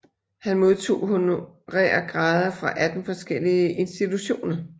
Han modtog honorære grader fra 18 forskellige institutioner